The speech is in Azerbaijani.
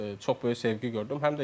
Çox böyük sevgi gördüm.